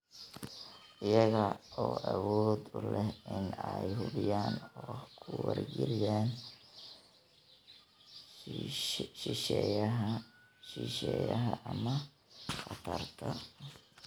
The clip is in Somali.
iyaga oo awood u leh in ay hubiyaan oo ku wargeliyaan shisheeyaha ama khatarta.